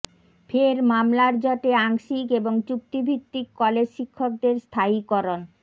ফের মামলার জটে আংশিক এবং চুক্তিভিত্তিক কলেজ শিক্ষকদের স্থায়ীকরণ